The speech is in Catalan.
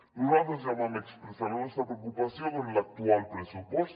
nosaltres ja vam expressar la nostra preocupació que en l’actual pressupost